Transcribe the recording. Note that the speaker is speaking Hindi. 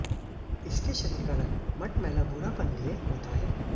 इसके शरीर का रंग मटमैला भूरापन लिये हुए होता है